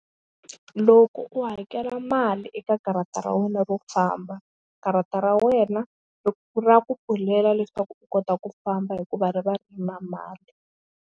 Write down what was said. Loko u hakela mali eka karata ra wena ro famba karata ra wena ra ku pfulela leswaku u kota ku famba hikuva ri va ri ri na mali.